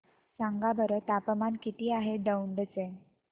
सांगा बरं तापमान किती आहे दौंड चे